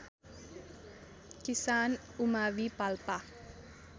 किसान उमावि पाल्पा